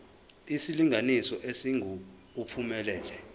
isilinganiso esingu uphumelele